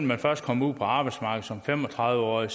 man først kommer ud på arbejdsmarkedet som fem og tredive årig